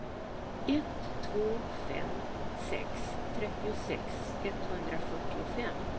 ett två fem sex trettiosex etthundrafyrtiofem